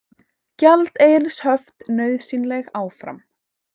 Gjaldeyrishöft nauðsynleg áfram